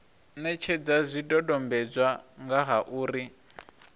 netshedza zwidodombedzwa nga ha uri